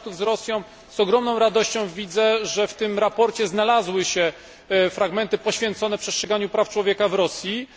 kontaktów z Rosją z ogromną radością widzę, że w tym sprawozdaniu znalazły się fragmenty poświęcone przestrzeganiu praw człowieka w Rosji